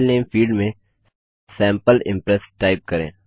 file name field में sample impress type करें